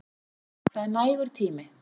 Það er nægur tími.